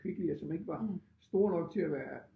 Kvicklyer som ikke var store nok til at være